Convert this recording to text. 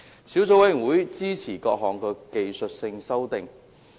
小組委員會支持各項技術性法例修訂。